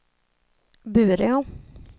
Bureå